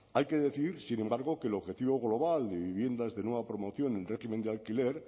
hay que decir sin embargo que el objetivo global de viviendas de nueva promoción en régimen de alquiler